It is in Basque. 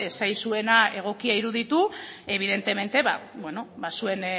ez zaizuena egokia iruditu evidentemente zuen